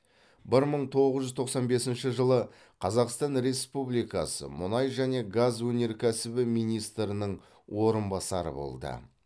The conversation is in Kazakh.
бір мың тоғыз жүз тоқсан бесінші жылы қазақстан республикасы мұнай және газ өнеркәсібі министрінің орынбасары болды